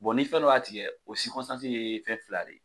ni fɛn dɔ y'a tigɛ o ye fɛn fila de ye.